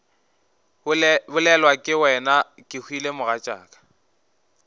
bolelwa ke wena kehwile mogatšaka